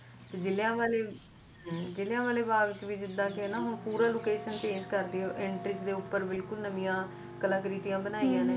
Jaliawala bagh ਚ ਵੀ ਜਿੱਦਾ ਕਿ ਨਾ ਪੂਰੀ location change ਕਰਤੀ entrance ਦੇ ਉਪਰ ਨਵੀਂ ਕਲਾਕ੍ਰਿਤੀਆਂ ਬਣਾਇਆ